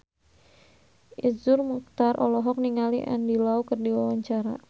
Iszur Muchtar olohok ningali Andy Lau keur diwawancara